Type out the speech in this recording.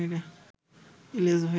ইলিয়াস ভাই